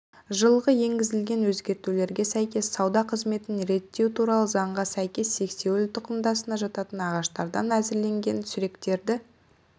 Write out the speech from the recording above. жылғы енгізілген өзгертулерге сәйкес сауда қызметін реттеу туралы заңға сәйкес сексеуіл тұқымдасына жататын ағаштардан әзірленген сүректерді